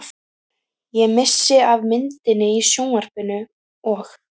Ég missi af myndinni í sjónvarpinu og.